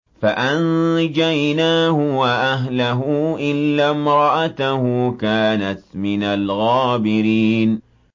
فَأَنجَيْنَاهُ وَأَهْلَهُ إِلَّا امْرَأَتَهُ كَانَتْ مِنَ الْغَابِرِينَ